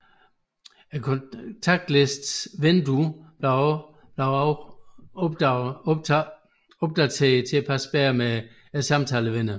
Kontaktlistens vindue blev også opdateret til at passe bedre med samtalevinduet